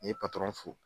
N ye patɔrɔn fo